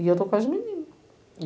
E eu estou com as menina.